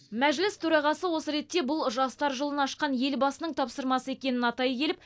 мәжіліс төрағасы осы ретте бұл жастар жылын ашқан елбасының тапсырмасы екенін атай келіп